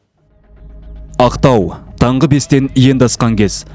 ақтау таңғы бестен енді асқан кез